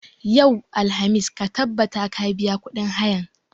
Yau, alhamis, ka tabbata ka biya kuɗin hayan!